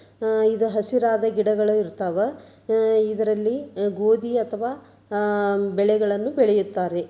ಅಹ್ ಇದು ಹಸಿರಾದ ಗಿಡಗಳು ಇರ್ತಾವ ಅಹ್ ಇದರಲ್ಲಿ ಗೋಧಿ ಅಥವಾ ಅಹ್ ಬೆಳೆಗಳನ್ನು ಬೆಳೆಯುತ್ತಾರೆ.